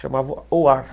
Chamava OAR.